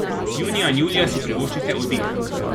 Junija in julija si privoščite oddih.